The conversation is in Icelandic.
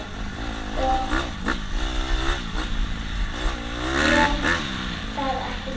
Og gekk það ekki vel.